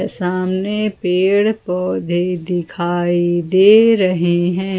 सामने पेड़ पौधे दिखाई दे रहे हैं।